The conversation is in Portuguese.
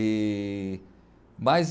E mas...